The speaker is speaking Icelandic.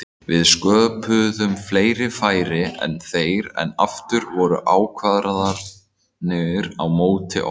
Við sköpuðum fleiri færi en þeir en aftur voru ákvarðanir á móti okkur.